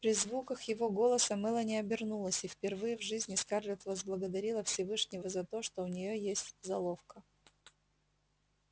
при звуках его голоса мелани обернулась и впервые в жизни скарлетт возблагодарила всевышнего за то что у нее есть золовка